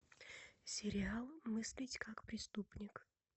сериал мыслить как преступник